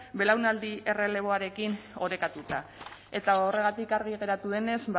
belaunaldi erreleboarekin orekatuta eta horregatik argi geratu denez